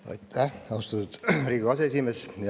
Aitäh, austatud Riigikogu aseesimees!